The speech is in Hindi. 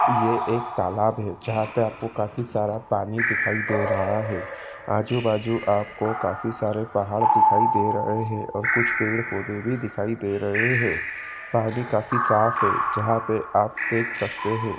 ये एक तलाब है जहां पे काफी सारा पानी दिखाई दे रहा है आजू बाजू आपको काफी सारे पहाड़ दिखाई दे रहे है और कुछ पेड़ पौधे भी दिखाई दे रहे है पानी काफी साफ़ है जहाँ पे आप देख सकते है।